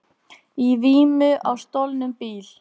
Í vímu á stolnum bíl